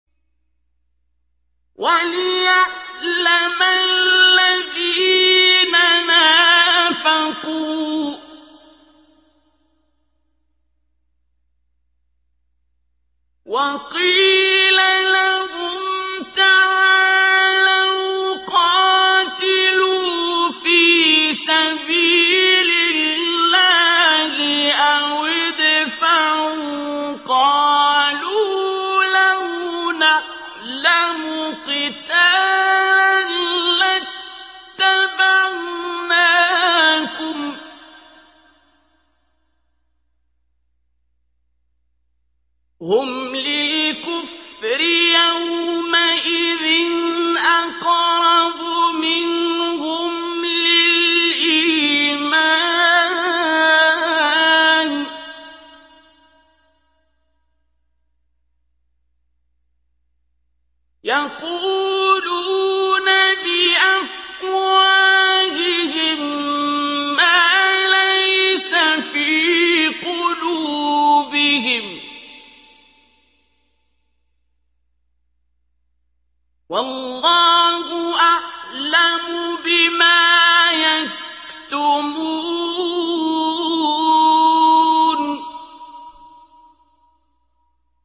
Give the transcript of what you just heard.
وَلِيَعْلَمَ الَّذِينَ نَافَقُوا ۚ وَقِيلَ لَهُمْ تَعَالَوْا قَاتِلُوا فِي سَبِيلِ اللَّهِ أَوِ ادْفَعُوا ۖ قَالُوا لَوْ نَعْلَمُ قِتَالًا لَّاتَّبَعْنَاكُمْ ۗ هُمْ لِلْكُفْرِ يَوْمَئِذٍ أَقْرَبُ مِنْهُمْ لِلْإِيمَانِ ۚ يَقُولُونَ بِأَفْوَاهِهِم مَّا لَيْسَ فِي قُلُوبِهِمْ ۗ وَاللَّهُ أَعْلَمُ بِمَا يَكْتُمُونَ